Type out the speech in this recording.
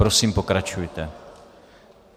Prosím, pokračujte.